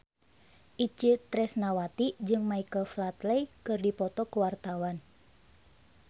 Itje Tresnawati jeung Michael Flatley keur dipoto ku wartawan